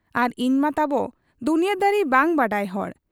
ᱟᱨ ᱤᱧᱢᱟ ᱛᱟᱵᱚ ᱫᱩᱱᱤᱭᱟᱺᱫᱟᱨᱤ ᱵᱟᱝ ᱵᱟᱰᱟᱭ ᱦᱚᱲ ᱾